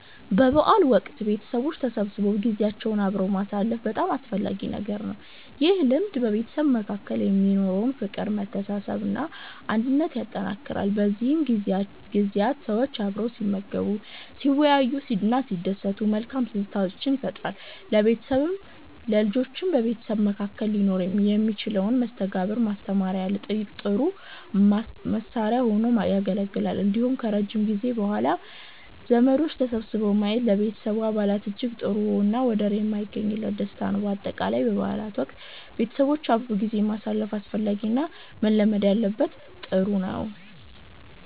በበዓል ወቅት ቤተሰቦች ተሰብስበው ጊዜያቸውን አብረው ማሳለፍ በጣም አስፈላጊ ነገር ነው። ይህ ልማድ በቤተሰብ መካከል የሚኖረውን ፍቅር፥ መተሳሰብ እና አንድነት ያጠነክራል። በእነዚህ ጊዜያት ሰዎች አብረው ሲመገቡ፥ ሲወያዩ እና ሲደሰቱ መልካም ትዝታዎችን ይፈጥራሉ። ለልጆችም በቤተሰብ መካከል ሊኖር የሚችልን መስተጋብርን ማስተማሪያ ጥሩ መሳሪያ ሁኖ ያገለግላል። እንዲሁም ከረጅም ጊዜ በኋላ ዘመዶች ተሰብስበው ማየት ለቤተሰብ አባላት እጅግ ጥሩ እና ወደር የማይገኝለት ደስታ ነው። በአጠቃላይ በበዓል ወቅት ቤተሰቦች አብረው ጊዜ ማሳለፍ አስፈላጊ እና መለመድ ያለበት ጥሩ ነው